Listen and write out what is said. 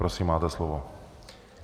Prosím, máte slovo.